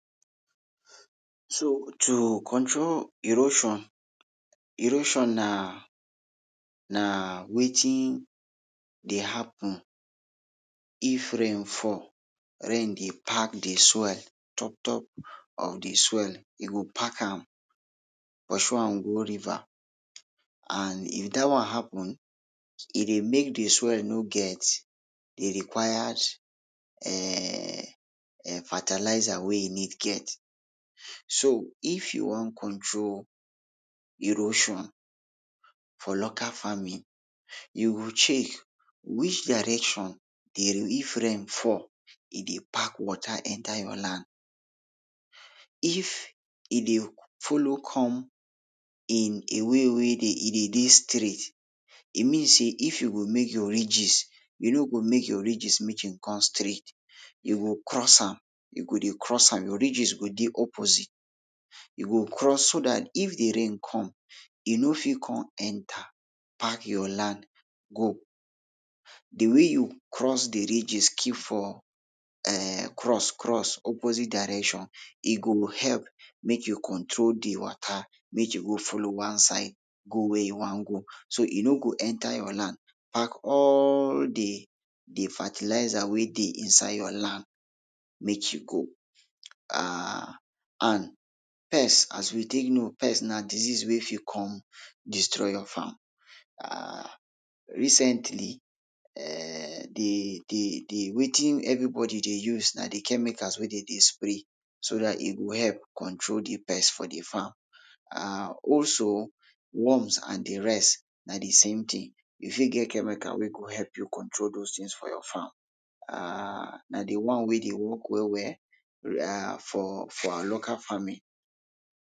So, to control erosion, erosion na, na wetin dey happen if rain fall, rain dey pack de soil, top top of de soil, e go pack am, pursue am go river and if dat one happen, e dey make de soil no get de required um fertilizer wey e need get. So if you wan control erosion for local farming, you go check, which direction dey if rain fall, e dey pack water enter your land. If e dey follow come in a way wey dey e dey dey straight, e mean say if you go make your ridges, you no go make your ridges make e come straight, you go cross am, you go dey cross am, your ridges go dey opposite, you go cross so dat if de rain come, e no fit come enter pack your land go. Dey way you cross dey ridges keep for um cross cross opposite direction, e go help make you control dey water, make e go follow one side, go wia e wan go, so e no go enter your land, pack all de, de fertiliser wey dey inside your land make e go, um. And pest. Pest as we take know pest na disease wey fit come destroy your farm. um Recently, um de de de, wetin everybody dey use na dey chemicals wey dem dey spray so dat e go help control de pest for de farm. um also, worms and de rest na de same tin, you fit get chemical wey go help you control those tins for your farm, um na dey one wey de work well well um for for our local farming.